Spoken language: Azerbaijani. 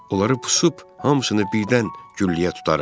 Onları pusub, hamısını birdən gülləyə tutarıq.